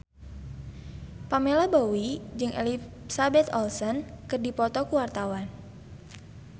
Pamela Bowie jeung Elizabeth Olsen keur dipoto ku wartawan